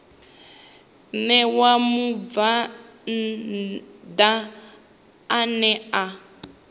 ṋewa mubvann ḓa ane a